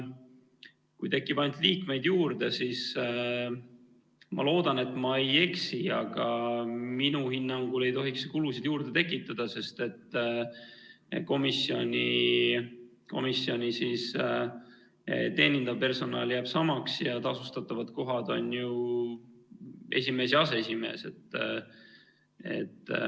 Kui tekib ainult liikmeid juurde, siis minu hinnangul ei tohiks see kulusid juurde tekitada, sest komisjoni teenindav personal jääb samaks ja tasustatavad kohad on ju esimees ja aseesimees.